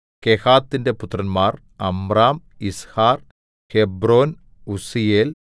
കെഹാത്തിന്റെ പുത്രന്മാർ Amram Izhar Hebron ഉസ്സീയേൽ